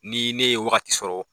Ni ne ye wagati sɔrɔ